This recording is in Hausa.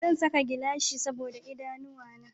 Zan saka gilashi saboda idanuwa na